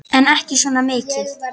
En ekki svona mikið.